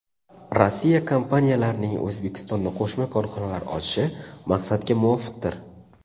Rossiya kompaniyalarining O‘zbekistonda qo‘shma korxonalar ochishi maqsadga muvofiqdir.